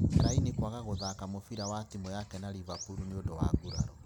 Fellaini kwaga kũthaka mũbiira wa timu yake na Liverpool nĩ ũndũ wa nguraro.